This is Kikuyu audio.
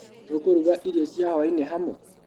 Tũkũruga irio cia hwainĩ hamwe?